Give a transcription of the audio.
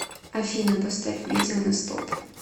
афина поставь видео на стоп